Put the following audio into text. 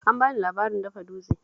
An ba ni labarin dafa dutse